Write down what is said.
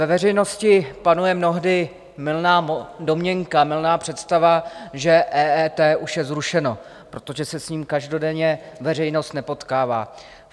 Ve veřejnosti panuje mnohdy mylná domněnka, mylná představa, že EET už je zrušeno, protože se s ním každodenně veřejnost nepotkává.